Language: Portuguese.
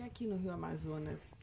E aqui no Rio Amazonas?